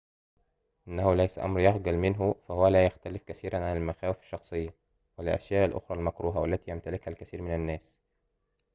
إنه ليس أمراً يُخجل منه فهو لا يختلف كثيراُ عن المخاوف الشخصية و الأشياء الأخرى المكروهة و التي يمتلكها الكثير من الناس